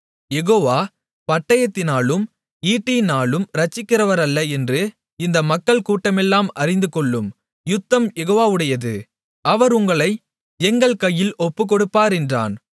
யெகோவா பட்டயத்தினாலும் ஈட்டியினாலும் இரட்சிக்கிறவர் அல்ல என்று இந்த மக்கள்கூட்டமெல்லாம் அறிந்துகொள்ளும் யுத்தம் யெகோவாவுடையது அவர் உங்களை எங்கள் கையில் ஒப்புக்கொடுப்பார் என்றான்